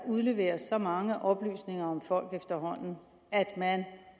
udleveres så mange oplysninger om folk at man